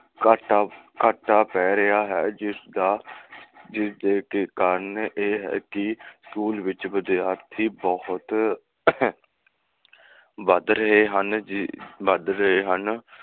ਘਾਟਾ ਘਾਟਾ ਪੈ ਰਿਹਾ ਹੈ, ਜਿਸਦਾ ਜਿਸਦੇ ਕਾਰਨ ਇਹ ਹੈ ਕਿ school ਵਿਚ ਵਿਦਿਆਰਥੀ ਬਹੁਤ ਵੱਧ ਰਹੇ ਹਨ, ਵੱਧ ਰਹੇ ਹਨ